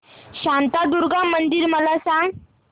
शांतादुर्गा मंदिर मला सांग